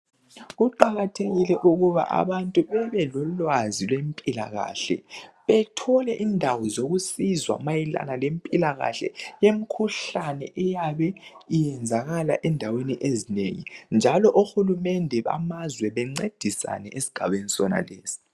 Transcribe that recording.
Kuqakathekile ukuba abantu bebe lolwazi lwempilakahle bethole indawo zokusizwa mayelana lempilakahle yemikhuhlane eyabe iyenzakala endaweni ezinengi ,njalo ohulumende bamazwe bancedisane esigabeni sonalesi.